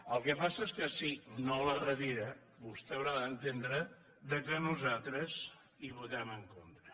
el que passa és que si no la retira vostè haurà d’entendre que nosaltres hi votem en contra